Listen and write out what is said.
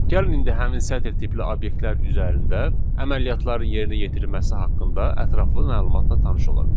Gəlin indi həmin sətr tipli obyektlər üzərində əməliyyatların yerinə yetirilməsi haqqında ətraflı məlumatla tanış olaq.